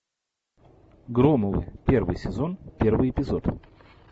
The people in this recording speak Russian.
громовы первый сезон первый эпизод